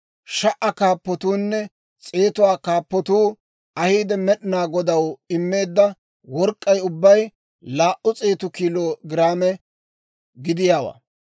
Sha"aa kaappatuunne s'eetuwaa kaappatuu ahiide Med'inaa Godaw immeedda work'k'ay ubbay laa"u s'eetu kiilo giraame gidiyaawaa.